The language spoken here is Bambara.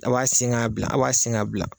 A' sen ka bila a sen ka bila